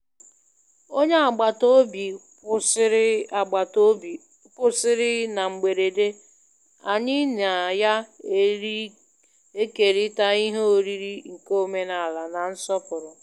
Onye agbataobi kwụsiri agbataobi kwụsiri na mgberede, anyị na ya ekerita ihe oriri nke omenala na nsọpụrụ.